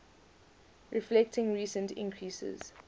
reflecting recent increases